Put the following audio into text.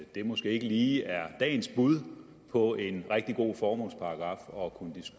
at det måske ikke lige er dagens bud på en rigtig god formålsparagraf og kunne de